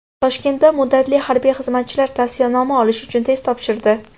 Toshkentda muddatli harbiy xizmatchilar tavsiyanoma olish uchun test topshirdi.